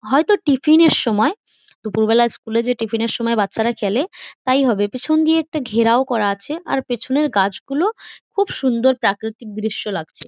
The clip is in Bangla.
হয়তো টিফিন -এর সময় | দুপুর বেলা স্কুল -এ যে টিফিন -এর সময় যে বাচ্চা রা খেলে তাই হবে | পিছন দিয়ে একটা ঘেরাও করা আছে | আর পিছনের গাছ গুলো খুব সুন্দর প্রাকৃতিক দৃশ্য লাগছে ।